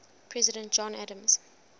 president john adams